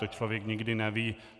To člověk nikdy neví.